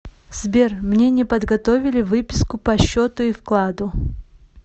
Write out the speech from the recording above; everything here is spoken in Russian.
сбер мне не подготовили выписку по счету и вкладу